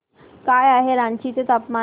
काय आहे रांची चे तापमान